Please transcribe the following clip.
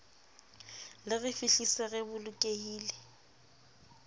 le re fihlise re bolokehile